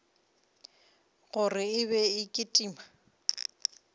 gore e be e kitima